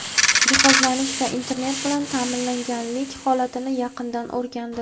jihozlanish va internet bilan ta’minlanganlik holatini yaqindan o‘rgandi.